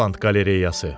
Roland Qalereyası.